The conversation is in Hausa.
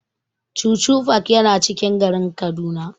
Chuchu park yana cikin garin Kaduna.